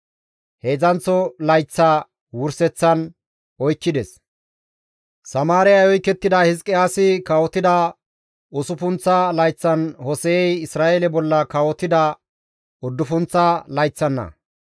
Heedzdzanththo layththa wurseththan oykkides; Samaariyay oykettiday Hizqiyaasi kawotida usuppunththa layththan Hose7ey Isra7eele bolla kawotida uddufunththa layththanna.